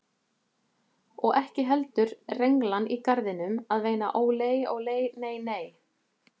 Og ekki heldur renglan í garðinum að veina ólei, ólei, nei, nei.